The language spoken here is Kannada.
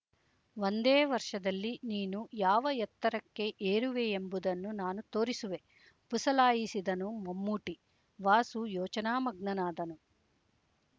ಒಂದೇ ವರ್ಷದಲ್ಲಿ ನೀನು ಯಾವ ಎತ್ತರಕ್ಕೆ ಏರುವೆಯೆಂಬುದನ್ನು ನಾನು ತೋರಿಸುವೆ ಪುಸಲಾಯಿಸಿದನು ಮಮ್ಮೂಟಿ ವಾಸು ಯೋಚನಾ ಮಗ್ನನಾದನು